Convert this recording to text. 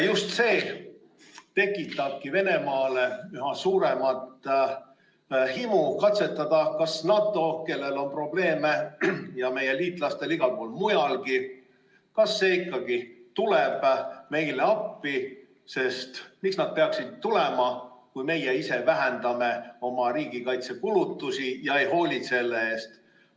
Just see tekitabki Venemaale üha suuremat himu katsetada, kas NATO, kellel on probleeme igal pool mujalgi, ikkagi tuleb meile appi, sest miks nad peaksid tulema, kui meie ise vähendame oma riigikaitsekulutusi ega hoolitse eest.